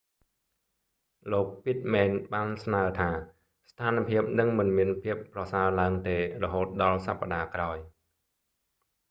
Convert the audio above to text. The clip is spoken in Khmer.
លោក pittman ពីតមែន បានស្នើថា ស្ថានភាពនឹងមិនមានភាពប្រសើរឡើងទេ រហូតដល់សប្តាហ៍ក្រោយ